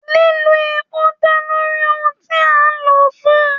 Lílo èpò dá lórí ohùn tí a lò fún.